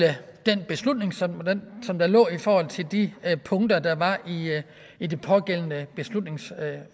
den beslutning som som der lå i forhold til de punkter der var i det pågældende beslutningsforslag